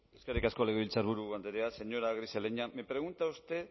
eskerrik asko legebiltzarburu andrea señora grisaleña me pregunta usted